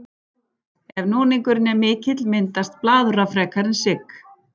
Ef núningurinn er mikill myndast blaðra frekar en sigg.